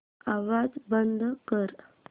आवाज बंद कर